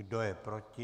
Kdo je proti?